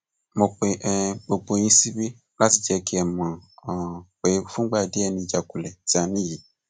mo pe um gbogbo yín síbí láti jẹ kí ẹ mọ um pé fúngbà díẹ ni ìjákulẹ tí a ní yìí